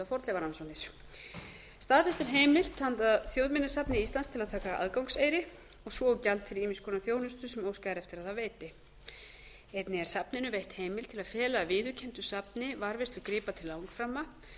fornleifarannsóknir staðfest er heimild handa þjóðminjasafni íslands til að taka aðgangseyri svo og gjald fyrir ýmiss konar þjónustu sem óskað er eftir að það veitieinnig er safninu veitt heimild til að fela viðurkenndu safni varðveislu gripa til langframa